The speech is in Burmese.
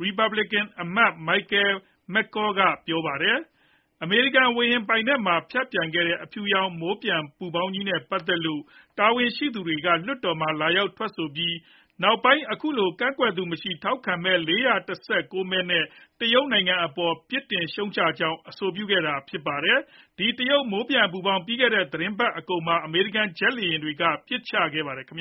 ရီပတ်ဘလစ်ကန် အမတ် မိုက်ကယ်မက်ကောလ် Michael McCaul က ပြောပါတယ်။ အမေရိကန် ဝေဟင် ပိုင်နက်ထဲမှာ ဖြတ်ပျံခဲ့တဲ့ အဖြူရောင် မိုးပျံပူဖောင်းကြီးနဲ့ ပတ်သက်လို့ တာဝန်ရှိသူတွေက လွှတ်တော်မှာ လာရောက် ထွက် ဆိုပြီး နောက်ပိုင်း အခုလို ကန့်ကွက်သူမရှိဘဲ ထောက်ခံမဲ ၄၁၉ မဲ နဲ့ တရုတ်နိုင်ငံ အပေါ် ရှုတ်ချကြောင်း အဆိုပြုနိုင်ခဲ့တာပါ။ ဒီ တရုတ် မိုးပျံ ပူဖောင်း ပြီးခဲ့တဲ့ သတင်းပတ် အကုန်မှာ အမေရိကန် ဂျက်လေယာဉ်တွေက ပစ်ချခဲ့ပါတယ်။ နိုင်